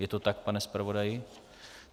Je to tak, pane zpravodaji?